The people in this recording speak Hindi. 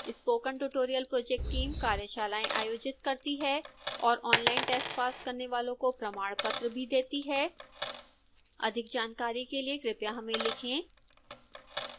स्पोकन ट्यूटोरियल प्रोजेक्ट टीम कार्यशालाएं आयोजित करती है और ऑनलाइन टेस्ट पास करने वाले को प्रमाणपत्र भी देते हैं अधिक जानकारी के लिए कृपया हमें लिखें